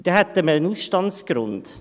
Dann hätten wir einen Ausstandsgrund.